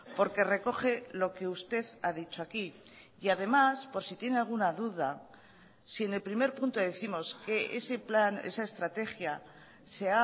porque recoge lo que usted ha dicho aquí y además por si tiene alguna duda si en el primer punto décimos que ese plan esa estrategia se